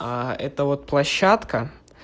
а это вот площадка